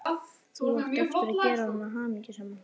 Þú átt eftir að gera hana hamingjusama.